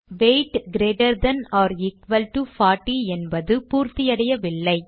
weight greater than or equal to 40 என்பது பூர்த்தியடையவில்லை